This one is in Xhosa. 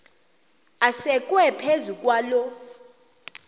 asekwe phezu kwaloo